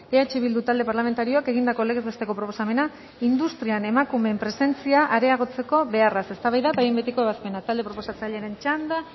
eh bildu talde parlamentarioak egindako legez besteko proposamena industrian emakumeen presentzia areagotzeko beharraz eztabaida eta behin betiko ebazpena talde proposatzailearen txanda